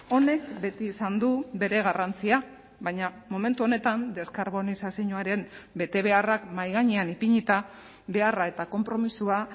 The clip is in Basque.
honek beti izan du bere garrantzia baina momentu honetan deskarbonizazioaren betebeharrak mahai gainean ipinita beharra eta konpromisoa